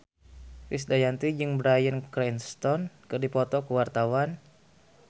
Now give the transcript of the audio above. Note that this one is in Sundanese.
Krisdayanti jeung Bryan Cranston keur dipoto ku wartawan